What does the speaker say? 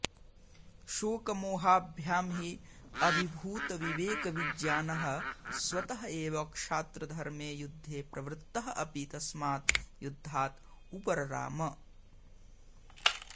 शोकमोहाभ्यां हि अभिभूतविवेकविज्ञानः स्वतः एव क्षात्रधर्मे युद्धे प्रवृत्तः अपि तस्मात् युद्धात् उपरराम